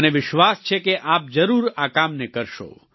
મને વિશ્વાસ છે કે આપ જરૂર આ કામને કરશો